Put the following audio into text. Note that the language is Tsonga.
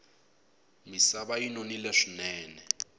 misava yi nonile swinene